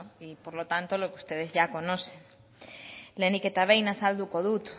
y por lo tanto ustedes ya conocen lehenik eta behin azalduko dut